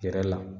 Yɛrɛ la